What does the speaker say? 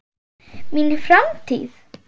Mín framtíð?